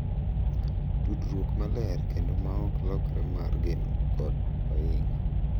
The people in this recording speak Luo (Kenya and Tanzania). Tudruok maler kendo ma ok lokre mar geno kod ohinga